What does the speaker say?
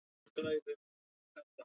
Hólmkell